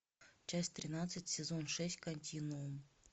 часть тринадцать сезон шесть континуум